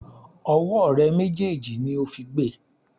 Ọwọ́ rẹ méjèèjì ni ó fi gbe!